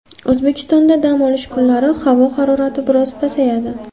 O‘zbekistonda dam olish kunlari havo harorati biroz pasayadi.